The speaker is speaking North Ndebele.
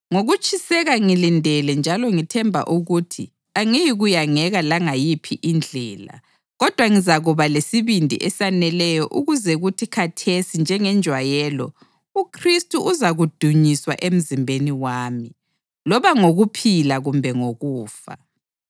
Ngokutshiseka ngilindele njalo ngithemba ukuthi angiyikuyangeka langayiphi indlela, kodwa ngizakuba lesibindi esaneleyo ukuze kuthi khathesi njengenjwayelo uKhristu uzakudunyiswa emzimbeni wami, loba ngokuphila kumbe ngokufa.